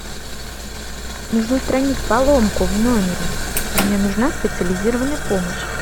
нужно устранить поломку в номере мне нужна специализированная помощь